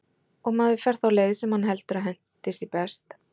Og maður fer þá leið, sem hann heldur að henti sér best.